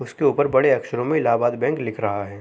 उसके ऊपर बड़े अक्षरों में इलाहाबाद बैंक लिख रहा है।